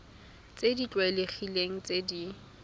tse di tlwaelegileng tse di